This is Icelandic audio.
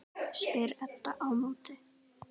Já, ok.